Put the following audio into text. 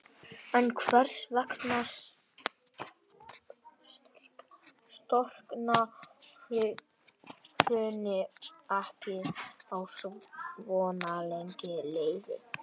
En hvers vegna storkna hraunin ekki á svo langri leið?